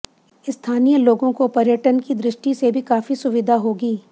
स्थानीय लोगों को पर्यटन की दृष्टि से भी काफी सुविधा होगी